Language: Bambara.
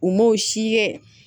U m'o si kɛ